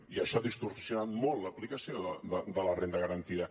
i això ha distorsionat molt l’aplicació de la renda garantida